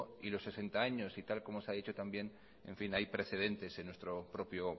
y los sesenta años y tal y como se ha dicho también hay precedentes en nuestro propio